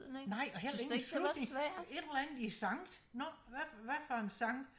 nej og heller ingen slutning et eller andet i sankt nå hvad hvad for en sankt